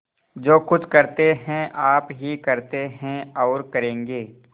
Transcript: जो कुछ करते हैं आप ही करते हैं और करेंगे